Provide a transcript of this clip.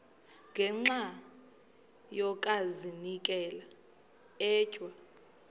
ngenxa yokazinikela etywa